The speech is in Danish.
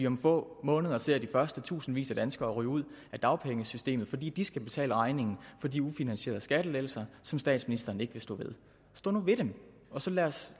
om få måneder ser vi første tusindvis af danskere ryge ud af dagpengesystemet fordi de skal betale regningen for de ufinansierede skattelettelser som statsministeren ikke vil stå ved stå nu ved dem og så lad os